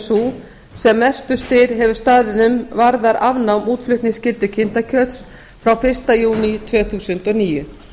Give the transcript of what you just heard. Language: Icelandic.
sú sem mestur styr hefur staðið um varðar afnám útflutningsskyldu kindakjöts frá fyrsta júní tvö þúsund og níu